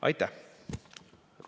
Aitäh!